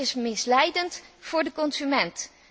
Dit is misleidend voor de consument.